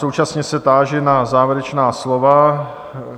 Současně se táži na závěrečná slova.